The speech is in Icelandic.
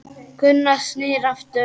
Gunnar snýr aftur.